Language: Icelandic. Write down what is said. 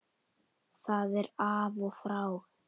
Það er af og frá.